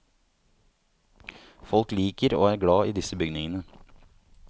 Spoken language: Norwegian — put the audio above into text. Folk liker og er glad i disse bygningene.